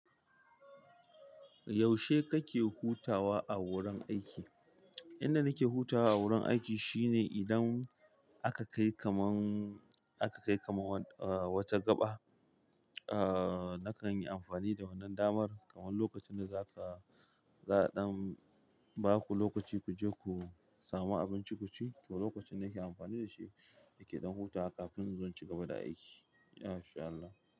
Yaushe kake hutawa a wurin aiki? Inda nake hutawa a wurin aiki shine idan aka kai kaman, aka kai kaman eh wata gaɓa, eh nakan yi amfani da wannan damar kaman lokacin da za ka, za ɗan ba ku lokaci ku je ku samu abinci ku ci. To lokacin nake amfani da shi nake ɗan hutawa kafin inzo in cigaba da aiki insha Allah.